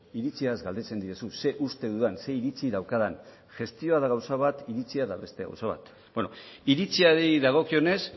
iritziaz galdetzen didazu zer uste duda zein iritzi daukadan gestioa da gauza bat iritzia beste bat iritziari dagokionez